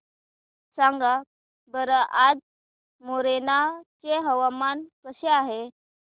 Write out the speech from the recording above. सांगा बरं आज मोरेना चे हवामान कसे आहे